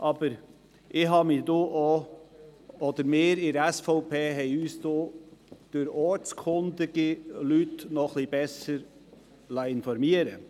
Doch liessen wir von der SVP uns durch ortskundige Personen noch etwas besser informieren.